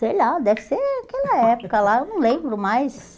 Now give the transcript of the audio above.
Sei lá, deve ser aquela época lá, eu não lembro mais...